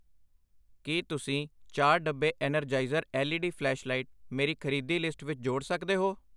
ਕਿ ਤੁਸੀਂ ਚਾਰ ਡੱਬੇ Energizer L E D flashlight ਮੇਰੀ ਖਰੀਦੀ ਲਿਸਟ ਵਿੱਚ ਜੋੜ ਸਕਦੇ ਹੋ ?